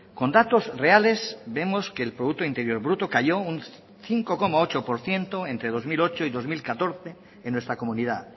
con datos reales vemos que el producto interior bruto cayó un cinco coma ocho por ciento entre dos mil ocho y dos mil catorce en nuestra comunidad